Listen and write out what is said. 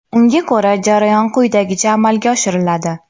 Unga ko‘ra, jarayon quyidagicha amalga oshiriladi.